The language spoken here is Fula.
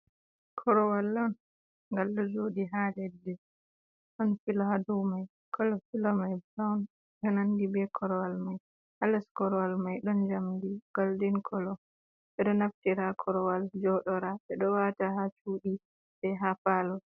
Korwal on. Ngal ɗo jooɗi ha leddi. Ɗon filo ha dou mai. Kolo filo mai brawn, ɗo nandi be korwal mai. Hal les korwal mai ɗon njamdi goldin kolo. Ɓe ɗo naftira korwal joɗora, ɓe ɗo wata ha cuuɗi be ha palo.